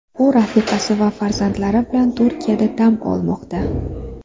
U rafiqasi va farzandlari bilan Turkiyada dam olmoqda.